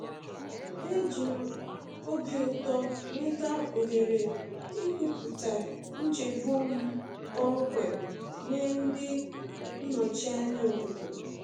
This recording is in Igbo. E ji m obi ụtọ nweta ohere ikwupụta nchegbu m kpọmkwem nye ndị nnọchi anya obodo.